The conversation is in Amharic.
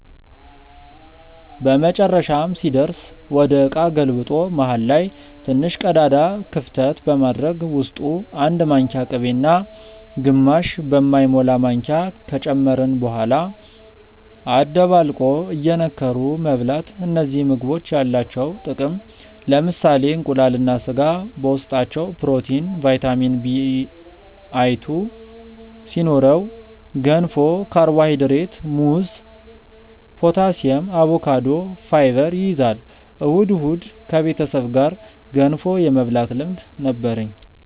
በመጨረሻም ሲደርስ ወደ እቃ ገልብጦ መሃል ላይ ትንሽ ቀዳዳ ክፍተት በማድረግ ውስጡ 1 ማንኪያ ቅቤ እና ግማሽ በማይሞላ ማንኪያ ከጨመርን በኋላ አደባልቆ እየነከሩ መብላት እነዚህ ምግቦች ያላቸው ጥቅም ለምሳሌ እንቁላል እና ስጋ በውስጣቸው ፕሮቲን፣ ቫይታሚን Bl2 ሲኖረው ገንፎ ካርቦሃይድሬት፣ ሙዝ ፖታሲየም፣ አቮካዶ ፋይበር ይይዛል። እሁድ እሁድ ከቤተሰብ ጋር ገንፎ የመብላት ልምድ ነበርኝ